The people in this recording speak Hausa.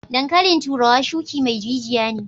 Dankalin turawa shuki mai jijiya ne.